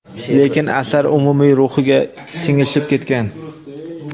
lekin asar umumiy ruhiga singishib ketgan.